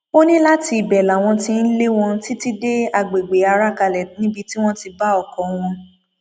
ó ní láti ibẹ làwọn tí ń lé wọn títí dé àgbègbè arakalẹ níbi tí wọn ti bá ọkọ wọn